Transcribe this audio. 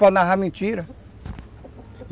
para narrar mentira.